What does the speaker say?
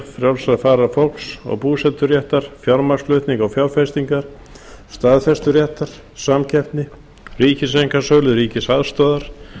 frjálsrar farar fólks og búseturéttar fjármagnsflutninga og fjárfestinga staðfesturéttar samkeppni ríkiseinkasölu ríkisaðstoðar